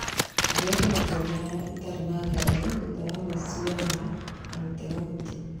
Njoete matua maya, itarĩ na nganja, thutha wa gwĩcũrania na gũtega gũtũ